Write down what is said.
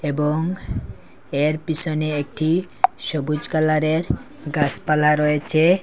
এবং এ্যার পিসনে একটি সবুজ কালারের গাসপালা রয়েচে।